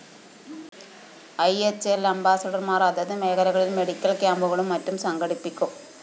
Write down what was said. IHL‍ അംബാസഡര്‍മാര്‍ അതത് മേഖലകളില്‍ മെഡിക്കൽ ക്യാമ്പുകളും മറ്റും സംഘടിപ്പിക്കും